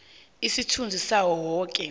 isithunzi sawo woke